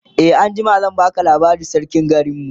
e anjima zan baka labarin sarkin garinmu